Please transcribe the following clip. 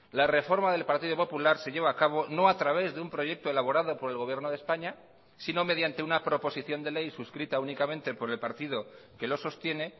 la reforma del partido popular se lleva a cabo no a través de un proyecto elaborado por el gobierno de españa sino mediante una proposición de ley suscrita únicamente por el partido que lo sostiene